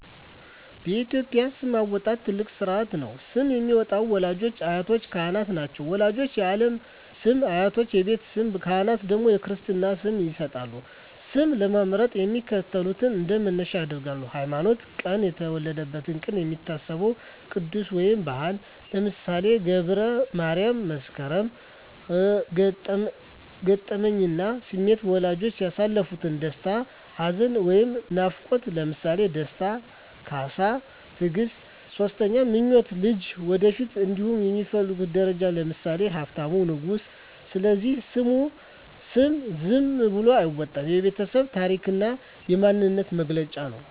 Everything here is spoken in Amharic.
በኢትዮጵያ ስም አወጣጥ ትልቅ ሥርዓት ነው። ስም የሚያወጡት ወላጆች፣ አያቶችና ካህናት ናቸው። ወላጆች የዓለም ስም፣ አያቶች የቤት ስም፣ ካህናት ደግሞ የክርስትና ስም ይሰጣሉ። ስም ለመምረጥ የሚከተሉት እንደ መነሻ ያገለግላሉ 1)ሃይማኖትና ቀን የተወለደበት ቀን የሚታሰበው ቅዱስ ወይም በዓል (ለምሳሌ ገብረ ማርያም፣ መስከረም)። 2)ገጠመኝና ስሜት ወላጆች ያሳለፉት ደስታ፣ ሐዘን ወይም ናፍቆት (ለምሳሌ ደስታ፣ ካሳ፣ ትግስት)። 3)ምኞት ልጁ ወደፊት እንዲሆን የሚፈለገው ደረጃ (ለምሳሌ ሀብታሙ፣ ንጉሱ)። ስለዚህ ስም ዝም ብሎ አይወጣም፤ የቤተሰብ ታሪክና የማንነት መገለጫ ነው።